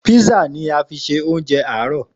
Písà ni a fi ṣe oúnjẹ àárọ̀